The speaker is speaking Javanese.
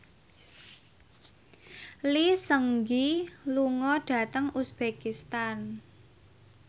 Lee Seung Gi lunga dhateng uzbekistan